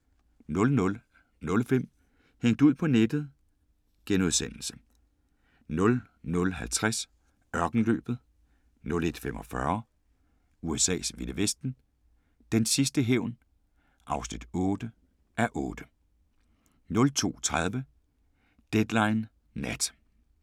00:05: Hængt ud på nettet * 00:50: Ørkenløbet 01:45: USA's vilde vesten: Den sidste hævn (8:8) 02:30: Deadline Nat